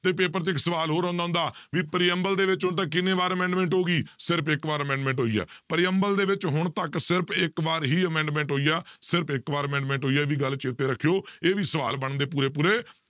ਤੇ paper ਤੇ ਇੱਕ ਸਵਾਲ ਹੋਰ ਆਉਂਦਾ ਹੁੰਦਾ ਵੀ preamble ਦੇ ਵਿੱਚ ਹੁਣ ਤੱਕ ਕਿੰਨੇ ਵਾਰ amendment ਹੋ ਗਈ ਸਿਰਫ਼ ਇੱਕ ਵਾਰ amendment ਹੋਈ ਆ preamble ਦੇ ਵਿੱਚ ਹੁਣ ਤੱਕ ਸਿਰਫ਼ ਇੱਕ ਵਾਰ ਹੀ amendment ਹੋਈ ਆ ਸਿਰਫ਼ ਇੱਕ ਵਾਰ amendment ਹੋਈ ਆ, ਇਹ ਵੀ ਗੱਲ ਚੇਤੇ ਰੱਖਿਓ ਇਹ ਵੀ ਸਵਾਲ ਬਣਦੇ ਪੂਰੇ ਪੂਰੇ